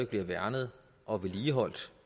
bliver værnet og vedligeholdt